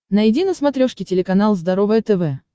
найди на смотрешке телеканал здоровое тв